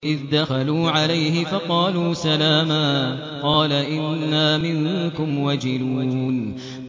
إِذْ دَخَلُوا عَلَيْهِ فَقَالُوا سَلَامًا قَالَ إِنَّا مِنكُمْ وَجِلُونَ